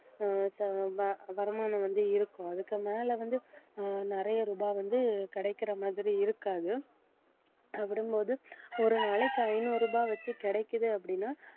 அஹ் ச~ வ~ வருமானம் வந்து இருக்கும். அதுக்கு மேலே வந்து அஹ் நிறைய ரூபாய் வந்து கிடைக்கிற மாதிரி இருக்காது அஹ் விடும் போது ஒரு நாளைக்கு ஐநூறு ரூபாய் வச்சு கிடைக்குது அப்படின்னா